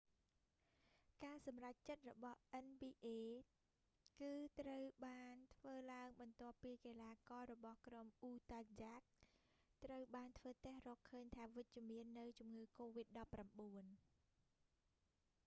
ការសម្រេចចិត្តរបស់ nba គឺត្រូវបានធ្វើឡើងបន្ទាប់ពីកីឡាកររបស់ក្រុម utah jazz ត្រូវបានធ្វើតេស្តរកឃើញថាវិជ្ជមាននូវជំងឺកូវីដ19